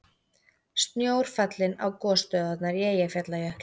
Snjór fallinn á gosstöðvarnar í Eyjafjallajökli